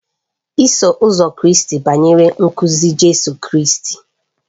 Iso Ụzọ Kraịst banyere nkuzi Jizọs Kraịst.